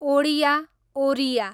Odia, Oriya